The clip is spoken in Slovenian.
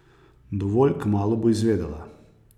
Dovolj kmalu bo izvedela.